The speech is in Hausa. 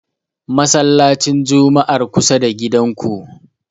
Masallacin Jum'ar kusa da gidanku.